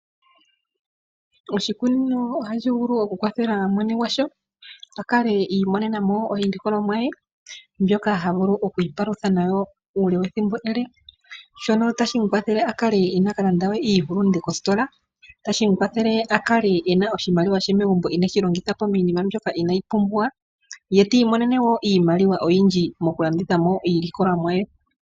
Oshikunino ohashi vulu okukwathela mwene gwasho, a kale i imonena mo iilikolomwa ye mbyoka ha vulu okwiipalutha nayo uule wethimbo ele. Shono otashi mu kwathele a kale inaa kal anda we iihulunde kositola, tashi mu kwathele ye a kale ena oshimaliwa she megumbo ineshi longitha po miinima mbyoka inaayi pumbiwa ye ti imonene mo wo iimaliwa oyindji mokulanditha po iilikolomwa ye.